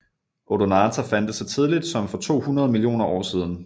Odonata fandtes så tidligt som for 200 millioner år siden